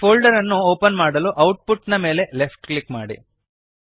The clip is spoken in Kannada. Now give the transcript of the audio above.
ಈ ಫೋಲ್ಡರ್ ಅನ್ನು ಓಪನ್ ಮಾಡಲು ಔಟ್ಪುಟ್ ನ ಮೇಲೆ ಲೆಫ್ಟ್ ಕ್ಲಿಕ್ ಮಾಡಿರಿ